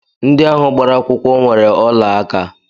Ndị ahụ gbara akwụkwọ nwere ọlaaka